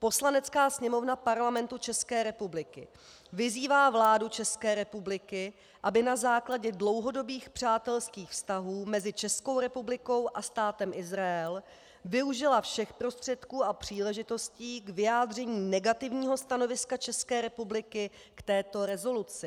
Poslanecká sněmovna Parlamentu České republiky vyzývá vládu České republiky, aby na základě dlouhodobých přátelských vztahů mezi Českou republikou a Státem Izrael využila všech prostředků a příležitostí k vyjádření negativního stanoviska České republiky k této rezoluci.